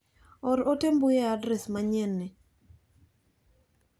Or ote mbui e adres manyien ni.